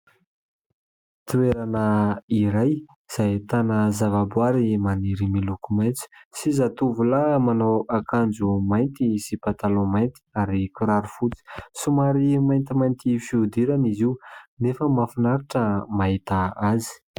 Toerana iray izay ahitana zavaboahary maniry miloko maitso sy zatovolahy manao akanjo mainty sy pataloa mainty ary kiraro fotsy. Somary maintimainty fihodirana izy io nefa mahafinaritra ny mahita azy.